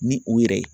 Ni u yɛrɛ ye